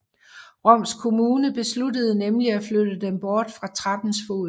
Roms kommune besluttede nemlig at flytte dem bort fra trappens fod